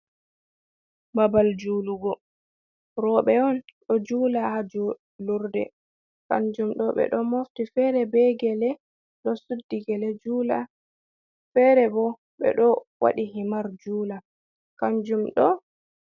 Babal julugo, roɓɓe on ɗo jula ha julurde kanjum ɗo ɓe ɗo mofti fere be gele, ɗo suddi gele jula, fere bo ɓe ɗo waɗi himar jula kanjum ɗo.